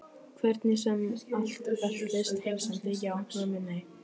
Hvernig sem allt veltist. heimsendi já, mömmu nei.